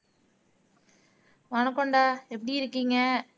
வணக்கம்டா எப்படி இருக்கீங்க